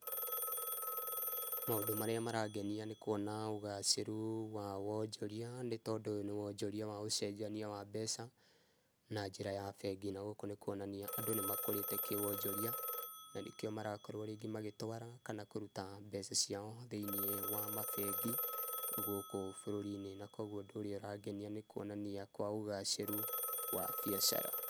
Maũndũ marĩa marangenia nĩ kwona ũgacĩru wa wonjoria, nĩ tondũ ũyũ nĩ wonjoria wa ũcenjania wa mbeca na njĩra ya bengi, na gũkũ nĩ kwonania andũ nĩ makũrĩte kĩ wonjoria, na nĩkĩo maragĩkorwo rĩngĩ magĩtwara na kũruta mbeca ciao thĩiniĩ wa mabengi gũkũ bũrũri-inĩ. Na koguo ũndũ ũrĩa ũrangenia nĩ kwonania kwa ũgacĩru wa biacara.